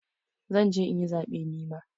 Zan je in yi zaɓe nima.